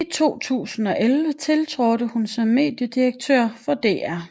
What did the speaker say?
I 2011 tiltrådte hun som mediedirektør for DR